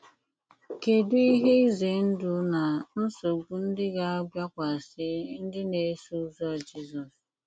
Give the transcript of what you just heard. Kedụ ihe ize ndụ na nsogbu ndị ga - abịakwasị ndị na - eso ụzọ Jizọs?